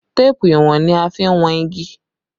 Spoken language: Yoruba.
Téèpù ìwọ̀n ni a fi n wọn igi